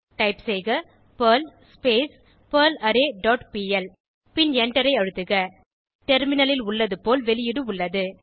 type செய்க Perl பெர்லாரே dot PL பின் எண்டரை அழுத்துக டெர்மினலில் உள்ளது போல் வெளியீடு உள்ளது